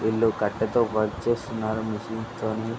వీళ్ళు కాటె తో వర్క్ చేస్తున్నారు. మెషిన్ తోనీ --